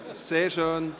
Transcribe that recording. Sehr schön!